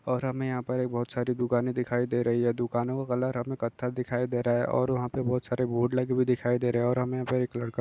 और हमे यहाँ पर एक बहोत सारी दुकाने दिखाई दे रही है दुकानों का कलर हमे कत्था दिखाई दे रहा है और वहाँ पे बहोत सारे बोर्ड लगे हुए दिखाई दे रहे है और हमे यहाँ पर एक लड़का --